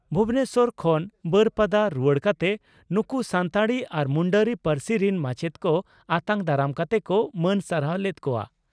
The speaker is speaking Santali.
ᱵᱷᱩᱵᱚᱱᱮᱥᱚᱨ ᱠᱷᱚᱱ ᱵᱟᱹᱨᱯᱟᱫᱟ ᱨᱩᱣᱟᱹᱲ ᱠᱟᱛᱮ ᱱᱩᱠᱩ ᱥᱟᱱᱛᱟᱲᱤ ᱟᱨ ᱢᱩᱱᱰᱟᱹᱨᱤ ᱯᱟᱹᱨᱥᱤ ᱨᱤᱱ ᱢᱟᱪᱮᱛ ᱠᱚ ᱟᱛᱟᱝ ᱫᱟᱨᱟᱢ ᱠᱟᱛᱮ ᱠᱚ ᱢᱟᱹᱱ ᱥᱟᱨᱦᱟᱣ ᱞᱮᱫ ᱠᱚᱜᱼᱟ ᱾